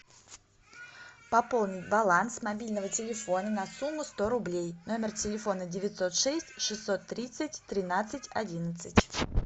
пополнить баланс мобильного телефона на сумму сто рублей номер телефона девятьсот шесть шестьсот тридцать тринадцать одиннадцать